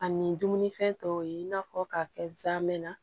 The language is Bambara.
Ani dumunifɛn tɔw ye i n'a fɔ ka kɛ zamɛ na